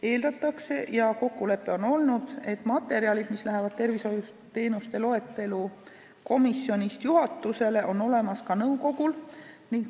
Eeldatakse ja kokkulepe on olnud, et materjalid, mis lähevad tervishoiuteenuste loetelu komisjonist juhatusele, on olemas ka nõukogul.